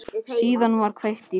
Síðan var kveikt í þeim.